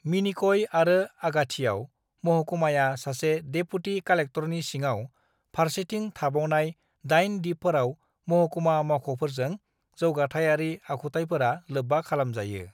मिनिकय आरो आगाथिआव महकुमाया सासे डेपुटि कालेक्टरनि सिङाव फारसेथिं थाबावनाय दाइन दिपफोराव महकुमा मावख'फोरजों जौगाथाइयारि आखुथायफोरा लोब्बा खालामजायो।